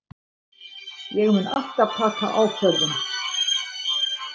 Ég mun alltaf taka ákvörðun.